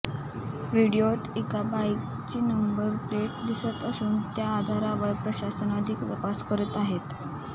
व्हिडिओत एका बाईकची नंबर प्लेट दिसत असून त्या आधारावर प्रशासन अधिक तपास करत आहे